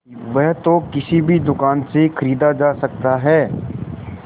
वह तो किसी भी दुकान से खरीदा जा सकता है